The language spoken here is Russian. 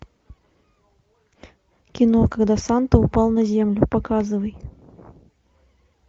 кино когда санта упал на землю показывай